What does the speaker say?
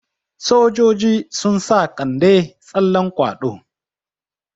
Sojoji sun sa Kande tsallan kwaɗo.